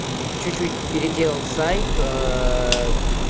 чуть-чуть переделал сайт